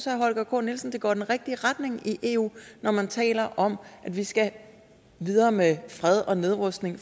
holger k nielsen det går i den rigtige retning i eu når man taler om at vi skal videre med fred og nedrustning